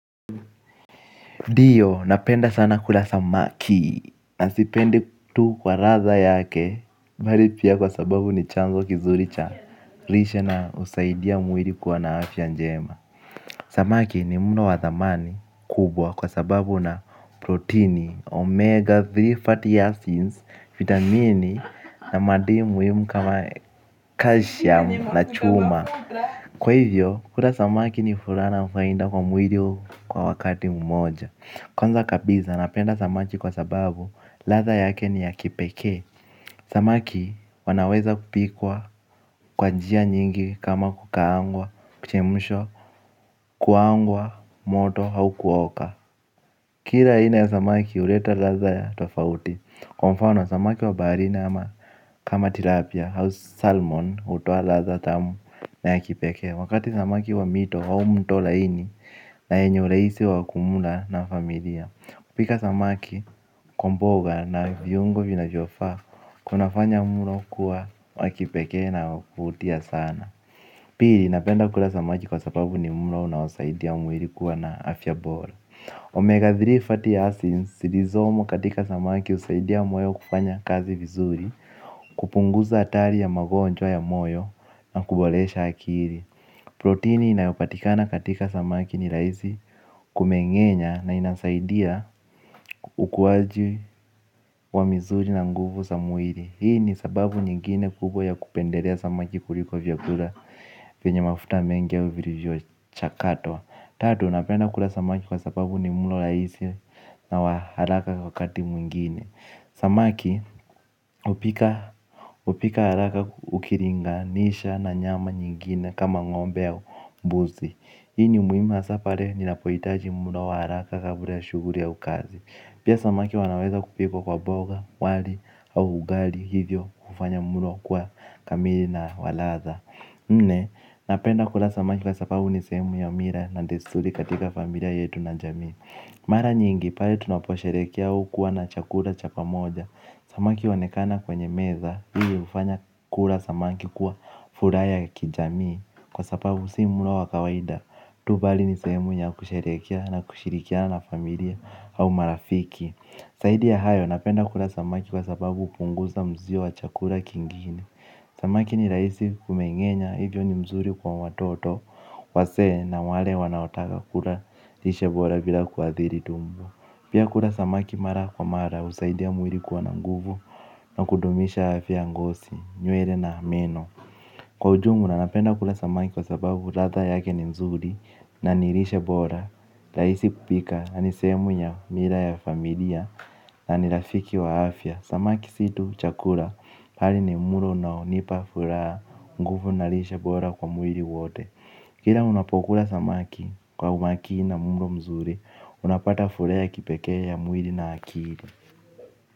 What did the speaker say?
Ndiyo napenda sana kula samaki na sipendi tu kwa ladha yake bali pia kwa sababu ni chanzo kizuri cha lishe na husaidia mwili kuwa na afya njema. Samaki ni mlo wa thamani kubwa kwa sababu una protini omega tatu fatty acids, vitamini na madini muhimu kama calcium na chuma. Kwa hivyo, kula samaki ni furaha na faida kwa mwili kwa wakati mmoja. Kwanza kabisa, napenda samaki kwa sababu, latha yake ni ya kipekee. Samaki wanaweza kupikwa kwa njia nyingi kama kukaangwa, kuchemshwa, kuangwa moto au kuoka. Kila aina ya samaki, huleta latha ya tofauti. Kwa mfano, samaki wa baharini ama kama tilapia, au salmon hutoa latha tamu na ya kipekee wakati samaki wa mito au mto laini na yenye urahisi wa kumla na familia. Kupika samaki kwa mboga na viungo vinavyofaa kuna fanya mlo kuwa wa kipekee na wa kuvutia sana. Pili napenda kula samaki kwa sababu ni mlo unaosaidia mwili kuwa na afya bora. Omega tatu fatty acids zilizomo katika samaki husaidia moyo kufanya kazi vizuri. Kupunguza hatari ya magonjwa ya moyo na kuboresha akili. Protini inayopatikana katika samaki ni rahisi kumengenya na inasaidia ukuaji wa mizuri na nguvu za mwili. Hii ni sababu nyingine kubwa ya kupendelea samaki kuliko vyakula vya mafuta mengie au vilivyo chakatwa. Tatu, napenda kula samaki kwa sababu ni mlo rahisi na wa haraka wakati mwingine. Samaki hupika haraka ukilinganisha na nyama nyingine kama ng'ombe ya mbuzi. Hii ni muhimu hasaa pale ninapohitaji mlo wa haraka kabla ya shuguli au kazi. Pia samaki wanaweza kupikwa kwa mboga, wali au ugali hivyo hufanya mlo kuwa kamili na wa ladha nne, napenda kula samaki kwa sababu ni sehemu ya mila na desturi katika familia yetu na jamii. Mara nyingi, pale tunaposherehekea hukuwa na chakula cha pamoja. Samaki huonekana kwenye meza, hivyo hufanya kula samaki kwa furaha ya kijamii. Kwa sababu si mlo wa kawaida tu bali ni sehemu ya kusherehekea na kushirikiana na familia au marafiki zaidi ya hayo napenda kula samaki kwa sababu hupunguza mzio wa chakula kingine. Samaki ni rahisi kumengenya hivyo ni mzuri kwa watoto wazee na wale wanaotaka kula lishe bora bila kuadhiri tumbo. Pia kula samaki mara kwa mara husaidia mwili kwa na nguvu na kudumisha afya ya ngozi, nywele na meno. Kwa ujumla napenda kula samaki kwa sababu ladha yake ni nzuri na ni lishe bora rahisi kupika na ni sehemu ya mila ya familia na ni rafiki wa afya. Samaki si tu chakula bali ni mlo unaonipa furaha nguvu na lishe bora kwa mwili wote. Kila unapokula samaki kwa umakini na mlo mzuri unapata furaha kipekee ya mwili na akili.